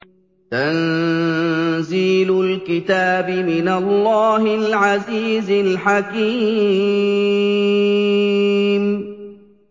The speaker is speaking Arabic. تَنزِيلُ الْكِتَابِ مِنَ اللَّهِ الْعَزِيزِ الْحَكِيمِ